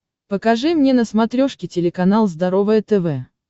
покажи мне на смотрешке телеканал здоровое тв